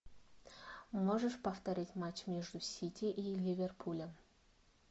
можешь повторить матч между сити и ливерпулем